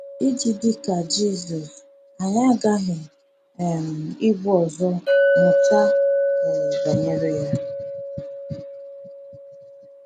Iji dị ka Jisọs, anyị aghaghị um ibu ụzọ mụta um banyere ya.